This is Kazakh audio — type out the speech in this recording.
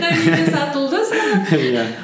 намибия сатылды саған иә